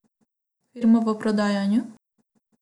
Firmo v prodajanju.